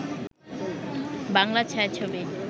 Bangla ছায়াছবি